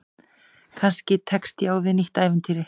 Kannski tekst ég á við nýtt ævintýri.